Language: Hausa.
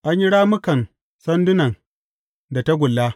An yi rammukan sandunan da tagulla.